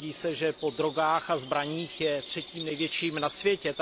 Tvrdí se, že po drogách a zbraních je třetím největším na světě.